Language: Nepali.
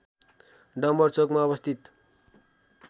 डम्‍बर चौकमा अवस्थित